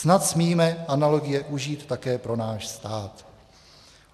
Snad smíme analogie užít také pro náš stát.